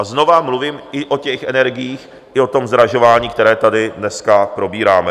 A znova mluvím i o těch energiích, i o tom zdražování, které tady dneska probíráme.